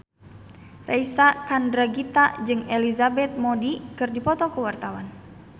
Reysa Chandragitta jeung Elizabeth Moody keur dipoto ku wartawan